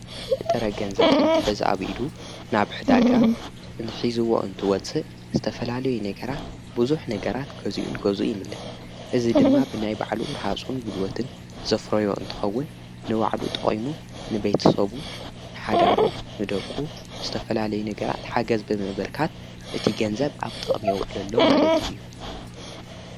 በጠረ ገንዘብ እንት ሕዝ ኣዊኢዱ ናብ ዕዳጋ ኂዝዎ እንትወፅ ስተፈላለዮይ ነገራት ብዙኅ ነገራት ገዚኡን ገዙ ይምለ እዝ ድማ ብናይ ባዕሉ ረሃጹን ጕሉወትን ዘፍረዮ እንተኸውን ንዋዕሉ ጠቂይሙ ንቤቴሶቡ ንኃዳሩ ንደቁ ምዝተፈላለይ ነገራት ሓገዝቢ ምብርካት እቲ ገንዘብ ኣብ ጠቕሚየውዕሉ ሎ ማለት እዩ።